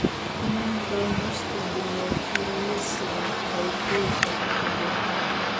Kinomtoono spondyloepiphyseal dysplasia congenita?